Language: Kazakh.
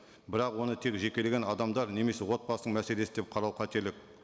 бірақ оны тек жекелеген адамдар немесе отбасының мәселесі деп қарау қателік